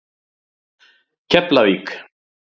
Keflavík